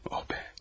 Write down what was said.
Oh be!